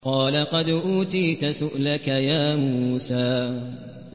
قَالَ قَدْ أُوتِيتَ سُؤْلَكَ يَا مُوسَىٰ